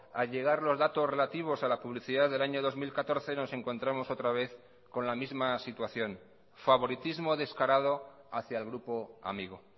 a llegar los datos relativos a la publicidad del año dos mil catorce nos encontramos otra vez con la misma situación favoritismo descarado hacia el grupo amigo